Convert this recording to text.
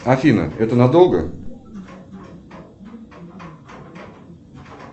афина это надолго